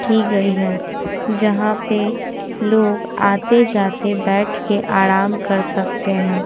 की गई है जहां पे लोग आते-जाते बैठ के आराम कर सकते हैं।